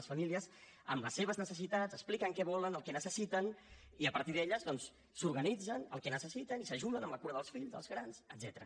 les famílies amb les seves necessitats expliquen què volen el que necessiten i a partir d’elles doncs s’organitzen el que necessiten i s’ajuden amb la cura dels fills dels grans etcètera